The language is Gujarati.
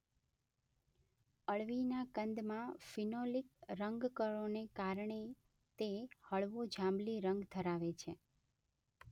અળવીના કંદમાં ફીનોલિક રંગકણોને કારણે તે હળવો જાંબલી રંગ ધરાવે છે.